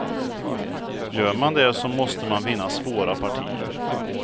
Gör man det så måste man vinna svåra partier.